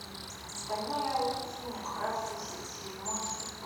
стальной алхимик братство седьмой сезон